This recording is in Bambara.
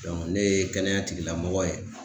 ne ye kɛnɛya tigilamɔgɔ ye.